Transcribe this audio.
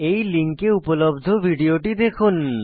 এই লিঙ্কে উপলব্ধ ভিডিওটি দেখুন